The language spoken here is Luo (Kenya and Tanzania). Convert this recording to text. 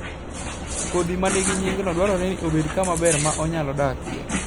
Kodhi ma nigi nyingno dwarore ni obed gi kama ber ma onyalo dakie.